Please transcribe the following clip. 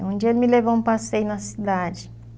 Um dia ele me levou um passeio na cidade.